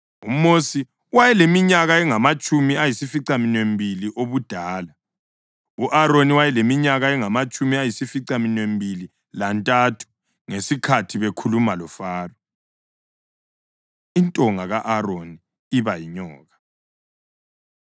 UMosi wayeleminyaka engamatshumi ayisificaminwembili ubudala, u-Aroni wayeleminyaka engamatshumi ayisificaminwembili lantathu ngesikhathi bekhuluma loFaro. Intonga Ka-Aroni Iba Yinyoka